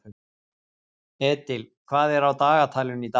Edil, hvað er á dagatalinu í dag?